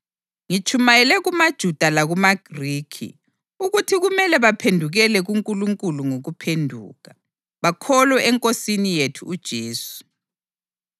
Ngitshumayele kumaJuda lakumaGrikhi ukuthi kumele baphendukele kuNkulunkulu ngokuphenduka, bakholwe eNkosini yethu uJesu.